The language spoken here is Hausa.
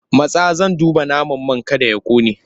Matsa! Zan duba naman man kada ya ƙone!